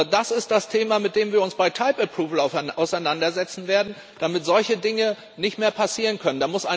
Das ist das Thema, mit dem wir uns bei auseinandersetzen werden, damit solche Dinge nicht mehr passieren können.